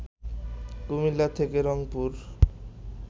কুমিল্লা থেকে রংপুর